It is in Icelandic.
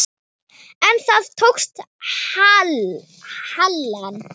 En það tókst Helen.